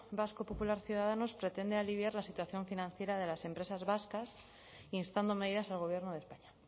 vasco popular ciudadanos pretende aliviar la situación financiera de las empresas vascas instando medidas al gobierno de españa